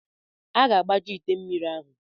A ga-agbaju ite mmiri ahụ.